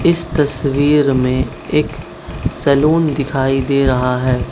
इस तस्वीर में एक सैलून दिखाई दे रहा है।